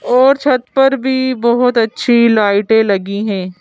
और छत पर भी बहुत अच्छी लाइटें लगी हैं।